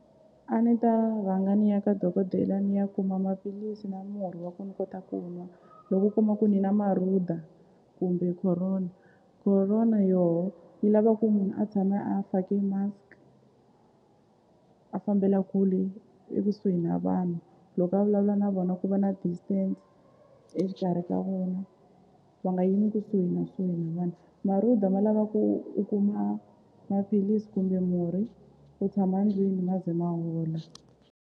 A ni ta rhanga ni ya ka dokodela ni ya kuma maphilisi na murhi wa ku ni kota ku nwa loko u kuma ku ni na marhuda kumbe Corona, Corona yoho yi lava ku munhu a tshama a fake mask a fambela kule ekusuhi na vanhu loko a vulavula na vona ku va na distance exikarhi ka vona va nga yimi kusuhi na na vanhu marhuda ma lava ku u kuma maphilisi kumbe murhi u tshama ndlwini ma ze ma hola.